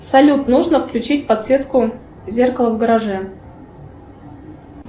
салют нужно включить подсветку зеркала в гараже